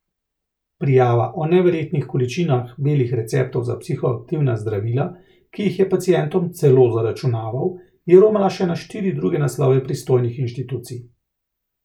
Prijava o neverjetnih količinah belih receptov za psihoaktivna zdravila, ki jih je pacientom celo zaračunaval, je romala še na štiri druge naslove pristojnih institucij.